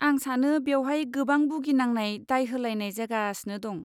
आं सानो बेवहाय गोबां बुगिनांनाय दाय होलायनाय जागासिनो दं।